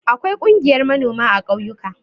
Akwai ƙungiyar manoma a ƙauyuka.